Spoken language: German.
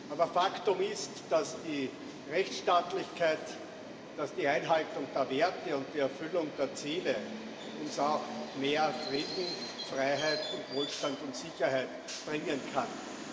Aber Faktum ist, dass die Rechtsstaatlichkeit, dass die Einhaltung der Werte und die Erfüllung der Ziele uns auch mehr Frieden, Freiheit, Wohlstand und Sicherheit bringen können.